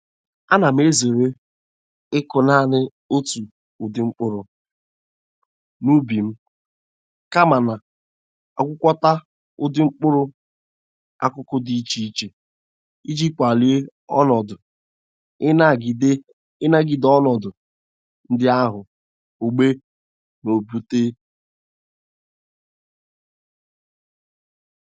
Ana m ezere ịkụ nanị otu ụdị mkpụrụ n'ubi m, kama na-agwakọta ụdị mkpụrụ akụkụ dị iche iche iji kwalie onọdụ inagide ọnọdụ ndị ahụ ogbe na-ebute.